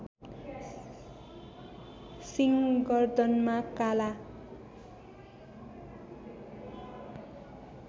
सिङ गर्दनमा काला